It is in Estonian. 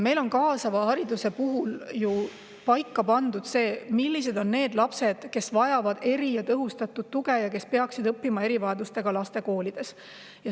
Meil on kaasava hariduse puhul ju paika pandud, millised on need lapsed, kes vajavad eri‑ ja tõhustatud tuge ja peaksid õppima erivajadustega laste koolides.